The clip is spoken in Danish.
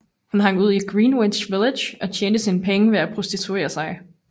Hun hang ud i Greenwich Village og tjente sine penge ved at prostituere sig